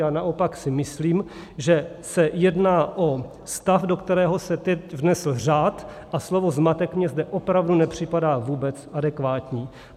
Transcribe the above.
Já naopak si myslím, že se jedná o stav, do kterého se teď vnesl řád, a slovo zmatek mně zde opravdu nepřipadá vůbec adekvátní.